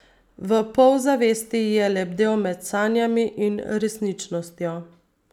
V polzavesti je lebdel med sanjami in resničnostjo.